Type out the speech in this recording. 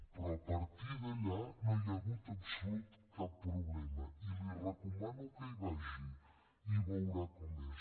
però a partir d’allà no hi ha hagut absolutament cap problema i li recomano que hi vagi i veurà com és